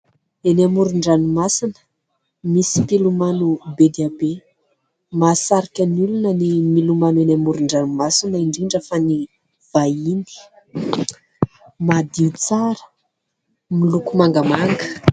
Eny amoron-dranomasina misy mpilomano be dia be. Mahasarika ny olona ny milomano eny amoron-dranomasina, indrindra fa ny vahiny. Madio tsara, miloko mangamanga.